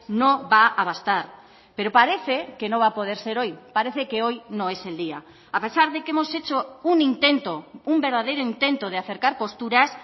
no va a bastar pero parece que no va a poder ser hoy parece que hoy no es el día a pesar de que hemos hecho un intento un verdadero intento de acercar posturas